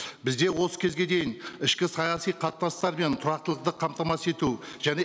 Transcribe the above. бізде осы кезге дейін ішкі саяси қатынастар мен тұрақтылықты қамтамасыз ету және